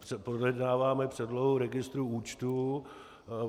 Projednáváme předlohu registrů účtů.